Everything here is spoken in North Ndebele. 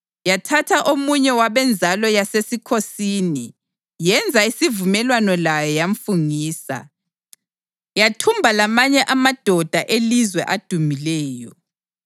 Yathatha omunye wabenzalo yasesikhosini, yenza isivumelwano laye, yamfungisa. Yathumba lamanye amadoda elizwe adumileyo,